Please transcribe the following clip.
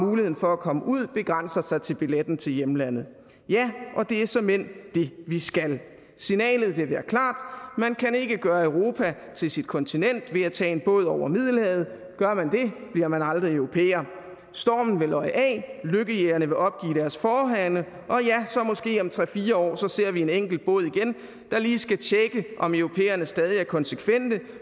muligheden for at komme ud begrænser sig til billetten til hjemlandet ja og det er såmænd det vi skal signalet vil være klart man kan ikke gøre europa til sit kontinent ved at tage en båd over middelhavet gør man det bliver man aldrig europæer stormen vil løje af lykkejægerne vil opgive deres forehavende og ja måske om tre fire år ser ser vi en enkelt båd igen der lige skal tjekke om europæerne stadig er konsekvente